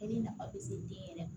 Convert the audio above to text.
nafa bɛ se den yɛrɛ ma